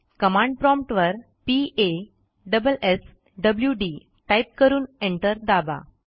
command promptवर p a s s w dटाईप करून एंटर दाबा